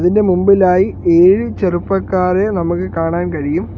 ഇതിൻ്റെ മുൻപിലായി ഏഴു ചെറുപ്പക്കാരെ നമുക്ക് കാണാൻ കഴിയും.